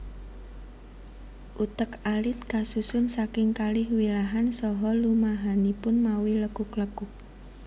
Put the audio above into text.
Utek alit kasusun saking kalih wilahan saha lumahanipun mawi lekuk lekuk